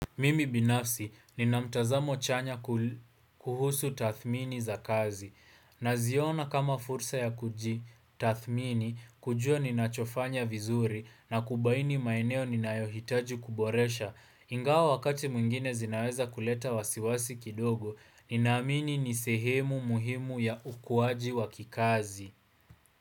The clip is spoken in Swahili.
Mimi binafsi nina mtazamo chanya kuhusu tathmini za kazi na ziona kama fursa ya kujitathimini kujua ninachofanya vizuri na kubaini maeneo ninayohitaji kuboresha ingawa wakati mwingine zinaweza kuleta wasiwasi kidogo ninamini nisehemu muhimu ya ukuwaji wa kikazi.